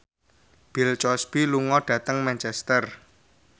Bill Cosby lunga dhateng Manchester